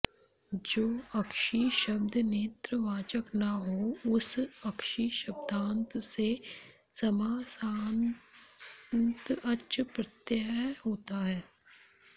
जो अक्षि शब्द नेत्रवाचक न हो उस अक्षिशब्दान्त से समासान्त अच् प्रत्यय होता है